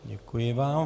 Děkuji vám.